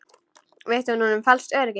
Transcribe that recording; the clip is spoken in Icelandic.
Veitti hún honum falskt öryggi?